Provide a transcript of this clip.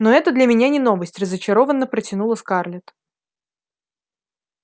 ну это для меня не новость разочарованно протянула скарлетт